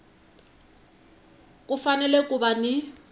ku fanele ku va ni